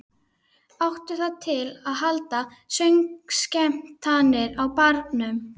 Áttu það til að halda söngskemmtanir á barnum.